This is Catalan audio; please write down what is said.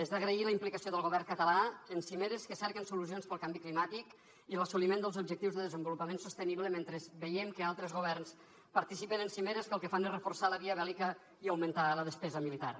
és d’agrair la implicació del govern català en cimeres que cerquen solucions pel canvi climàtic i l’assoliment dels objectius de desenvolupament sostenible mentre veiem que altres governs participen en cimeres que el que fan és reforçar la via bèl·lica i augmentar la despesa militar